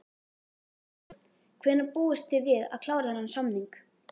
Jóhann: Hvenær búist þið við að klára þennan samning?